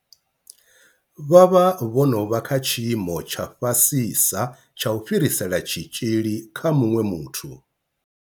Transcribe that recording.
Vha vha vho no vha kha tshiimo tsha fhasisa tsha u fhirisela tshitzhili kha muṅwe muthu.